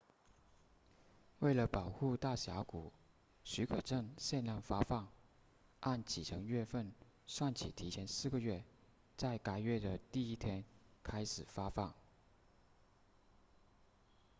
为了保护大峡谷许可证限量发放按启程月份算起提前四个月在该月的第一天开始发放